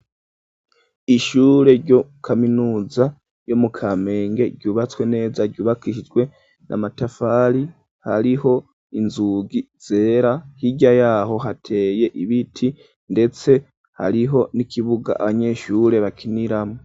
Ishure ryo kaminuza yo mu Kamenge ryubatswe neza ryubakisijwe n'a matafari hariho inzugi zera hirya yaho hateye ibiti ndetse hariho n'ikibuga abanyeshure bakiniramwo.